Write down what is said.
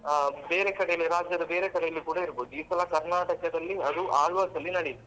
ಹಾ ಬೇರೆ ಕಡೆಯಲ್ಲಿ ರಾಜ್ಯದ ಬೇರೆ ಕಡೆಯಲ್ಲಿ ಕೂಡ ಇರ್ಬಹುದು ಈ ಸಲ Karnataka ದಲ್ಲಿ ಅದು Alva's ಅಲ್ಲಿ ನಡೀತು.